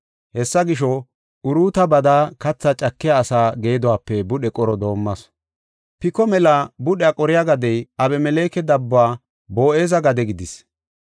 Hessa gisho, Uruuta bada katha cakiya asa geeduwaape budhe qoro doomasu. Piko mela budhiya qoriya gadey Abemeleke dabbuwa Boo7eza gade gidis.